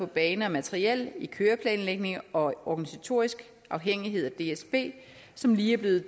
bane og materiel i køreplanlægning og organisatorisk afhængighed af dsb som lige er blevet